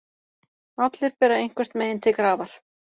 Allir bera eitthvert mein til grafar.